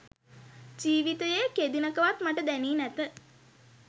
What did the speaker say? ජීවිතයේ කෙදිනකවත් මට දැනී නැත.